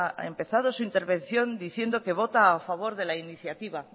ha empezado su intervención diciendo que vota a favor de la iniciativa